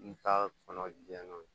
N ta kɔnɔ jɛ n'o ye